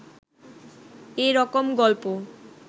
এ রকম গল্প